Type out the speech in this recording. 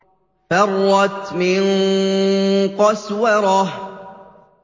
فَرَّتْ مِن قَسْوَرَةٍ